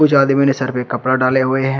जो आदमी ने सर पे कपड़ा डाले हुए हैं।